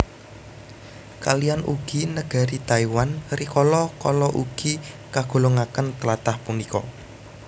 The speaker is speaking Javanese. Kaliyan ugi negari Taiwan rikala kala ugi kagolongaken tlatah punika